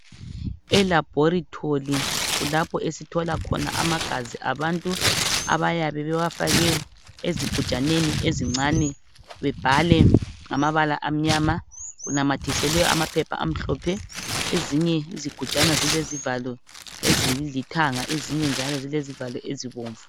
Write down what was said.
ELaboritory kulapho esithola khona amagazi abantu abayabe bewafake ezigujaneni ezincane bebhale ngamabala amnyama kunamathiselwe amaphepha amhlophe. Ezinye izigujana zilezivalo ezilithanga ezinye njalo zilezivalo ezibomvu.